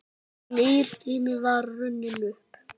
Nýr tími var runninn upp.